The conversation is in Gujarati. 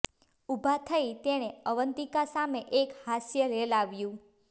ઊભા થઈ તેને અવંતિકા સામે એક હાસ્ય રેલાવ્યું